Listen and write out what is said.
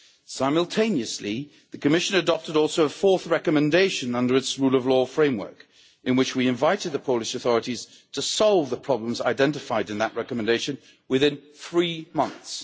Simultaneously, the Commission also adopted a fourth recommendation under its rule of law framework in which we invited the Polish authorities to solve the problems identified in that recommendation within three months.